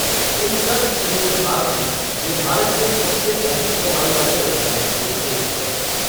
इन सब चीज़ों के बाद भी यह भारत में सबसे अधिक कमाई वाले व्यवसायों में से एक है।